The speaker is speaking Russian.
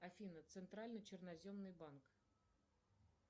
афина центральный черноземный банк